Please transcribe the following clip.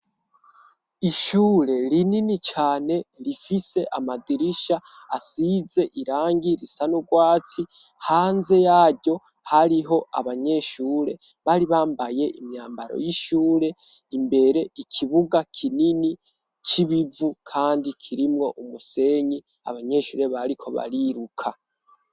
Ishure rinini cane rifise amadirisha asize irangi risa n'urwatsi ,hanze yaryo hariho abanyeshure bari bambaye imyambaro y'ishure ,imbere ikibuga kinini c'ibivu kandi kirimwo umusenyi ,abanyeshure bariko bariruka.